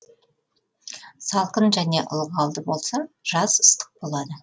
салқын және ылғалды болса жаз ыстық болады